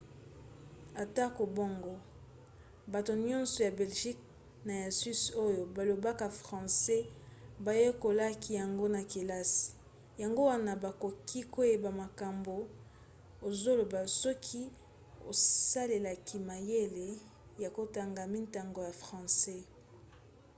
atako bongo bato nyonso ya belgique na ya suisse oyo balobaka francais bayekolaki yango na kelasi yango wana bakoki koyeba makambo ozoloba soki osalelaki mayele ya kotanga mintango ya francais